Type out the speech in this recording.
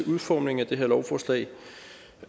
udformningen af det her lovforslag